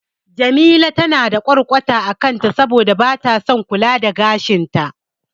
Jamila na da ƙwarƙwata a kanta saboda bata son kula da gashin ta.